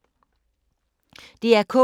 DR K